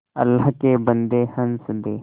अल्लाह के बन्दे हंस दे